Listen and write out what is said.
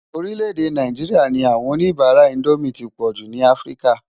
Orílẹ̀-èdè Náijiriá ní áwòn ónibàrá Indómi ti pòjú ni Afrika.